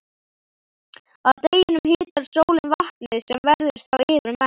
Að deginum hitar sólin vatnið sem verður þá yfirmettað.